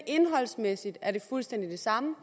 indholdsmæssigt er fuldstændig det samme